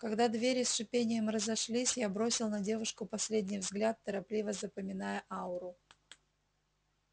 когда двери с шипением разошлись я бросил на девушку последний взгляд торопливо запоминая ауру